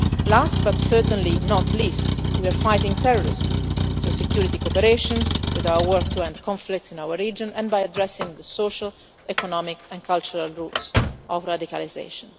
Last, but certainly not least, we are fighting terrorism through security cooperation, with our work to end the conflicts in our region, and by addressing the social, economic and cultural roots of radicalisation.